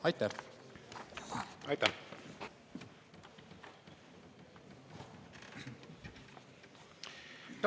Aitäh!